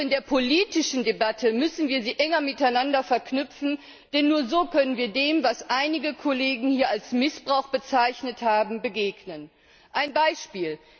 Doch in der politischen Debatte müssen wir sie enger miteinander verknüpfen, denn nur so können wir dem, was einige Kollegen hier als Missbrauch bezeichnet haben, begegnen. Ein Beispiel.